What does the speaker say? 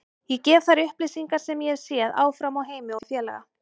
Ég gef þær upplýsingar sem ég hef séð áfram á Heimi og félaga.